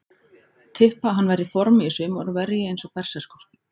Tippa að hann verði í formi í sumar og verji eins og berserkur.